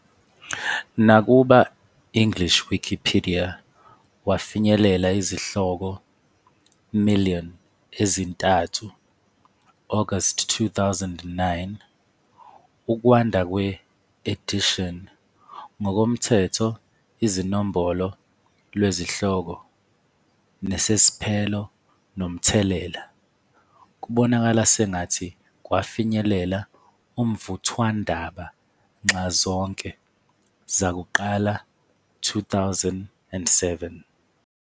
Nakuba English Wikipedia wafinyelela izihloko million ezintathu August 2009, ukwanda kwe-edition, ngokoMthetho izinombolo lwezihloko nesesiphelo nomthelela, kubonakala sengathi kwafinyelela umvuthwandaba nxazonke zakuqala 2007.